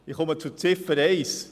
Ich komme zu Ziffer 1: